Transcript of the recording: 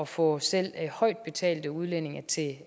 få selv højtbetalte udlændinge til